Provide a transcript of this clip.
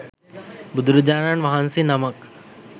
බුදුරජාණන් වහන්සේ නමක්